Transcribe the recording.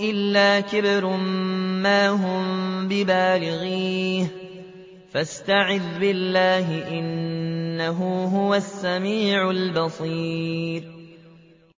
إِلَّا كِبْرٌ مَّا هُم بِبَالِغِيهِ ۚ فَاسْتَعِذْ بِاللَّهِ ۖ إِنَّهُ هُوَ السَّمِيعُ الْبَصِيرُ